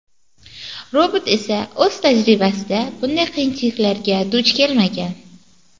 Robot esa o‘z tajribasida bunday qiyinchiliklarga duch kelmagan.